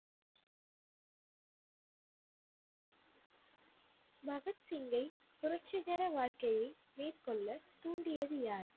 பகத் சிங்கை புரட்சிகர வாழ்க்கையை மேற்கொள்ளத் தூண்டியது யார்?